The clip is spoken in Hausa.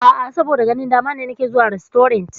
A'a, saboda ganin dama ne nake zuwa rastorant.